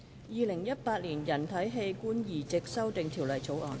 《2018年人體器官移植條例草案》。